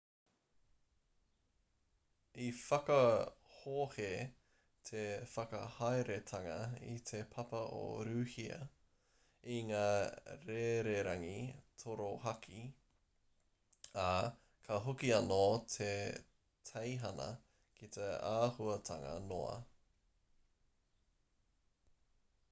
i whakahohe te whakahaeretanga i te papa o rūhia i ngā rererangi torohaki ā ka hoki anō te teihana ki te āhuatanga noa